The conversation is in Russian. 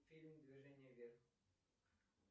фильм движение вверх